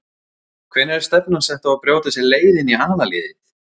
Hvenær er stefnan sett á að brjóta sér leið inn í aðalliðið?